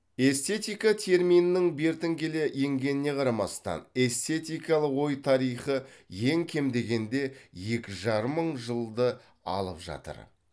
эстетика терминінің бертін келе енгеніне қарамастан эстетикалық ой тарихы ең кем дегенде екі жарым мың жылды алып жатыр